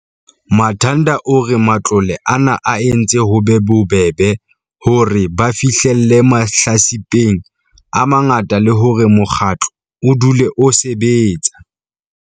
Manthada o re matlole a na a entse ho be bobebe hore ba fihlelle mahlatsipeng a mangata le hore mokgatlo o dule o sebetsa.